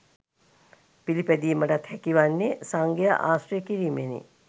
පිළිපැදීමටත් හැකිවන්නේ සංඝයා ආශ්‍රය කිරීමෙනි.